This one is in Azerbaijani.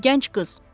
Gənc qız.